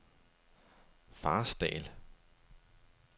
Farsdal